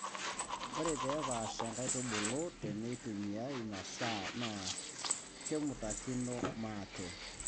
Ore pee epaasha nkaitubulu teneitumiya masaa naa kemutakino maate.